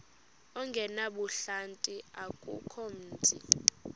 ongenabuhlanti akukho mzi